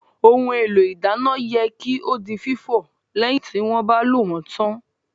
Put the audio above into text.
Ohun èlò ìdáná yẹ kí ó di fífọ̀ lẹ́yìn tí wọ́n bá lò wón tán